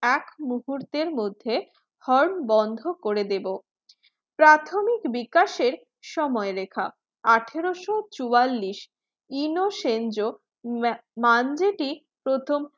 এক মুহূর্তের মধ্যে horn বন্ধ করে দেব। প্রাথমিক বিকাশের সময়ে লেখা আঠারোশো চুয়াল্লিশ ইনসংযো মান্ডাটি প্রথম